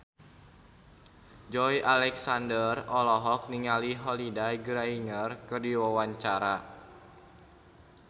Joey Alexander olohok ningali Holliday Grainger keur diwawancara